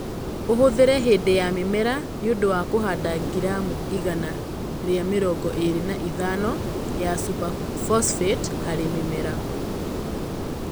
Ũhũthĩre hĩndĩ ya mĩmera nĩ ũndũ wa kũhanda gramu igana rĩa mĩrongo ĩrĩ na ithano ya super phosphate harĩ mĩmera